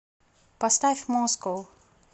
поставь москоу